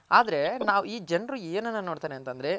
ಆದ್ರೆ ನಾವ್ ಈ ಜನ್ರು ಏನನ ನೋಡ್ತಾನೆ ಅಂತ ಅಂದ್ರೆ